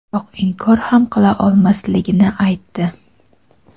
biroq inkor ham qila olmasligini aytdi.